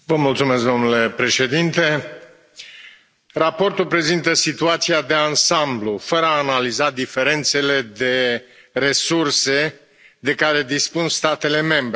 Domnule președinte, raportul prezintă situația de ansamblu, fără a analiza diferențele de resurse de care dispun statele membre.